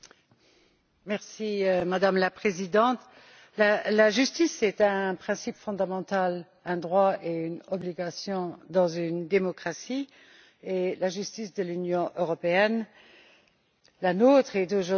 Madame la Présidente, la justice est un principe fondamental, un droit et une obligation dans une démocratie, et la justice de l'Union européenne, la nôtre, est aujourd'hui en difficulté.